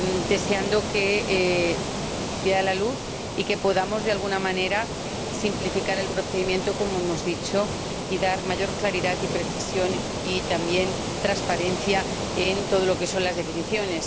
deseando que vea la luz y que podamos, de alguna manera, simplificar el procedimiento, como hemos dicho, y obtener mayor claridad, precisión y también transparencia en todo lo relacionado con las definiciones.